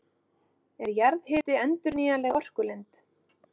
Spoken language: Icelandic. Er jarðhiti endurnýjanleg orkulind?